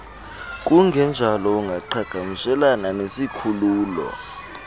kungenjalo ungaqhagamshelana nesikhululo